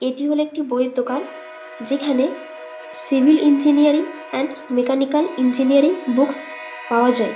এটি হলো একটি বই এর দোকান যেখানে civil engineering and mechanical engineering books পাওয়া যায় ।